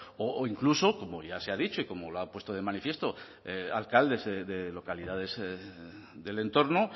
o incluso como ya se ha dicho y como lo han puesto de manifiesto alcaldes de localidades del entorno